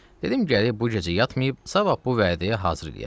Dedim gərək bu gecə yatmayıb, sabah bu vədəyə hazır eləyəsən.